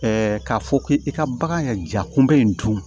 k'a fɔ k'i ka bagan ka jakunbɛ in dun